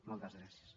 moltes gràcies